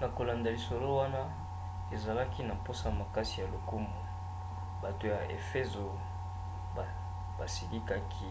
na kolanda lisolo wana azalaki na mposa makasi ya lokumu. bato ya efezo basilikaki